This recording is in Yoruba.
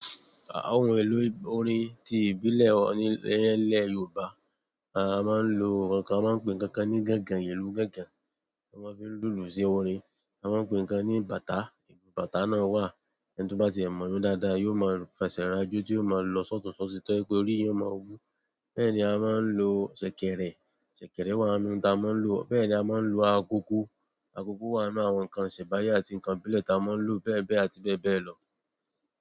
Àwọn ìlú orin ti ìbílẹ̀ wa ni ile yooba, a maa n lo nkankan, a maa n pe nkankan ni gangan, ìlú gangan. Ti a maa fi n lulu si orin. A máa ń pe nǹkan ní bàtá, ìlù bàtá náà wà, ẹni tó bá ti e mọ̀ ó dáadáa, yóò mọ fèsé ràjò tí yóò máa lọ sọ́tùnsótì tọ́ ma je kí orí eyan máa wú. Bẹ́ẹ̀ ni a máa ń lo sèkèrè, sèkèrè wà nínú ohun tí a máa ń lo. Bẹ́ẹ̀ ni a máa ń lo agogo, agogo wà nínú àwọn nǹkan ìsẹ̀mbáyé àti nǹkan ìbílẹ̀ tí a máa ń lo bẹ́ẹ̀ bẹ́ẹ̀ àti bẹ́ẹ̀ bẹ́ẹ̀ lọ.